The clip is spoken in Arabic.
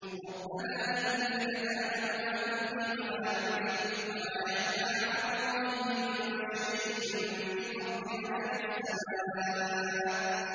رَبَّنَا إِنَّكَ تَعْلَمُ مَا نُخْفِي وَمَا نُعْلِنُ ۗ وَمَا يَخْفَىٰ عَلَى اللَّهِ مِن شَيْءٍ فِي الْأَرْضِ وَلَا فِي السَّمَاءِ